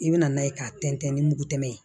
I bɛ na n'a ye k'a tɛntɛn ni mugu tɛmɛ ye